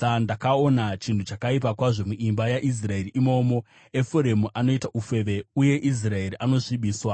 Ndakaona chinhu chakaipa kwazvo muimba yaIsraeri. Imomo Efuremu anoita ufeve uye Israeri anosvibiswa.